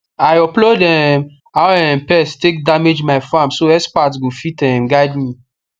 i upload um how um pest take damage my farm so expert go fit um guide me